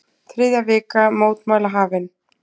Þriðja vika mótmæla hafin